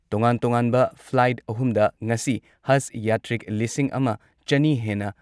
ꯇꯣꯉꯥꯟ ꯇꯣꯉꯥꯟꯕ ꯐ꯭ꯂꯥꯏꯠ ꯑꯍꯨꯝꯗ ꯉꯁꯤ ꯍꯖ ꯌꯥꯇ꯭ꯔꯤꯛ ꯂꯤꯁꯤꯡ ꯑꯃ ꯆꯅꯤ ꯍꯦꯟꯅ